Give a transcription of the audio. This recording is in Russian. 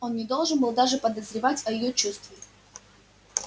он не должен был даже подозревать о её чувстве